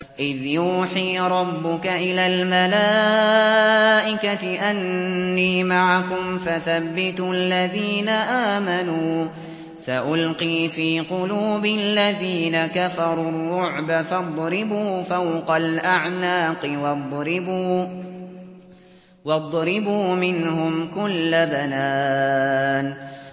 إِذْ يُوحِي رَبُّكَ إِلَى الْمَلَائِكَةِ أَنِّي مَعَكُمْ فَثَبِّتُوا الَّذِينَ آمَنُوا ۚ سَأُلْقِي فِي قُلُوبِ الَّذِينَ كَفَرُوا الرُّعْبَ فَاضْرِبُوا فَوْقَ الْأَعْنَاقِ وَاضْرِبُوا مِنْهُمْ كُلَّ بَنَانٍ